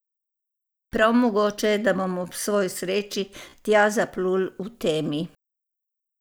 Prav mogoče je, da bom ob svoji sreči tja zaplul v temi.